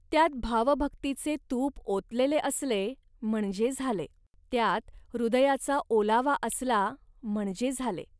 त्यात भावभक्तीचे तूप ओतलेले असले म्हणजे झाले. त्यात हृदयाचा ओलावा असला, म्हणजे झाले